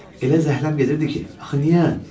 Elə zəhləm gedirdi ki, axı niyə?